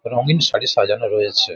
রঙিন শাড়ি সাজানো রয়েছে ।